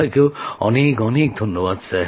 আপনাকেও অনেক ধন্যবাদ